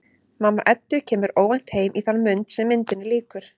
Mamma Eddu kemur óvænt heim í þann mund sem myndinni lýkur.